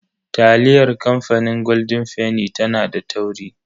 Taliyar kamfanin golden fenny tana da tauri.